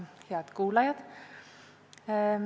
Head kuulajad!